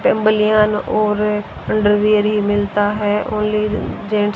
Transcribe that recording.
बलियान और अंडरवियर ही मिलाता है ओन्ली जें--